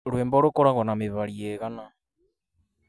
Rwĩmbo rũũ koragwo na mĩhari ĩihana.?